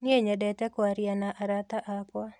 Niĩ nĩnyendete kwaria na arata akwa.